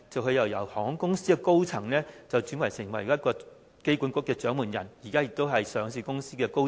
他是由航空公司的高層轉為香港機場管理局的掌門人，而現時也是上市公司的高層。